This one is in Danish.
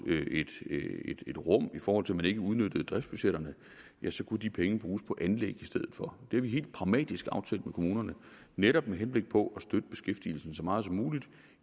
et rum fordi man ikke udnyttede driftsbudgetterne så kunne de penge bruges på anlæg i stedet for det har vi helt pragmatisk aftalt med kommunerne netop med henblik på at støtte beskæftigelsen så meget som muligt